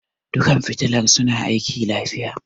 Dukkan fitilar suna aiki lafiya.